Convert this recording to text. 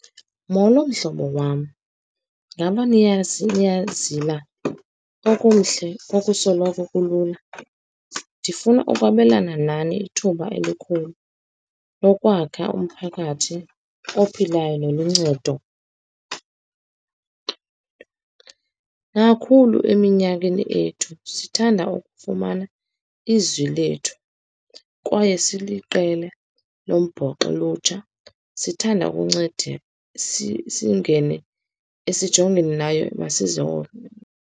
Molo, mhlobo wam. Ngaba niyazila okumhle okusoloko kulula. Ndifuna ukwabelana nani ithuba elikhulu lokwakha umphakathi ophilayo noluncedo. Nakhulu eminyakeni ethu, sithanda ukufumana izwi lethu, kwaye siliqela lombhoxo lolutsha, sithanda ukunceda.